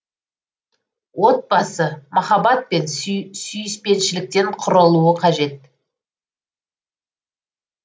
отбасы махаббат пен сүйіспеншіліктен құрылуы қажет